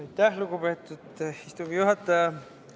Aitäh, lugupeetud istungi juhataja!